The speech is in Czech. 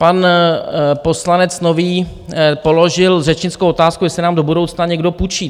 Pan poslanec Nový položil řečnickou otázku, jestli nám do budoucna někdo půjčí?